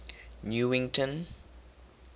newington